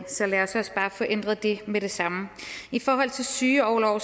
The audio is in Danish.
så lad os også bare få ændret det med det samme i forhold til sygeorlov